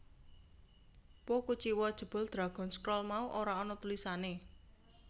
Po kuciwa jebul Dragon Scroll mau ora ana tulisané